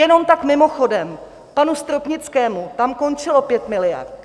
Jenom tak mimochodem, panu Stropnickému tam končilo 5 miliard.